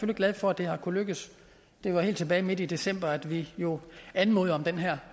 glad for at det har kunnet lykkes det var helt tilbage midt i december at vi jo anmodede om den her